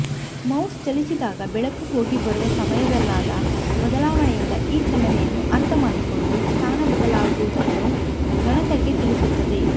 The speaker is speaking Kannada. ಮೌಸ್ ಚಲಿಸಿದಾಗ ಬೆಳಕು ಹೋಗಿ ಬರುವ ಸಮಯದಲ್ಲಾದ ಬದಲಾವಣೆಯಿಂದ ಈ ಚಲನೆಯನ್ನು ಅರ್ಥ ಮಾಡಿಕೊಂಡು ಸ್ಥಾನ ಬದಲಾದುದನ್ನು ಗಣಕಕ್ಕೆ ತಿಳಿಸುತ್ತದೆ